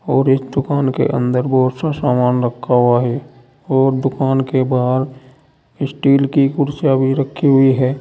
और इस दुकान के अंदर बहुत सा सामान रखा हुआ है और दुकान के बाहर स्टील की कुर्सीयां भी रखी हुई है।